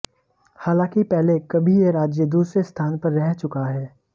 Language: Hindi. हालांकि पहले कभी यह राज्य दूसरे स्थान पर रह चुका है